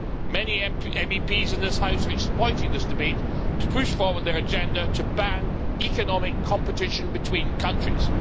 Many MEPs in this House are exploiting this debate to push forward their agenda to ban economic competition between countries.